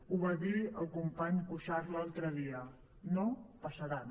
ho va dir el company cuixart l’altre dia no passaran